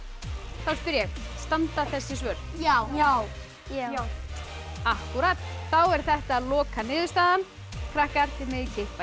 þá spyr ég standa þessi svör já já já akkúrat þá er þetta lokaniðurstaðan krakkar þið megið kippa í